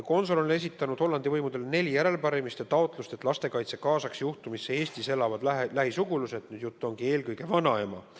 Konsul on esitanud Hollandi võimudele neli järelepärimise taotlust, et lastekaitse kaasaks juhtumisse ka Eestis elavad lähisugulased – jutt on eelkõige vanaemast.